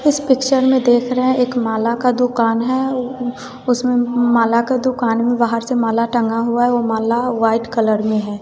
इस पिक्चर में देख रहे है एक माला का दुकान है उ उ उसमें माला का दुकान में बाहर से माल टंगा हुआ है वह माला वाइट कलर में है।